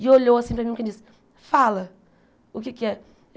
E olhou assim para mim como quem diz, fala, o que é que é?